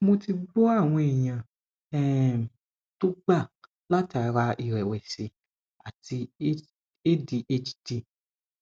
mo ti gbo awon eyan um to gba latara irewesi ati adhd